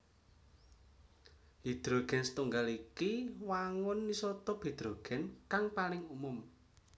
Hidrogen siji iku wangun isotop hidrogen kang paling umum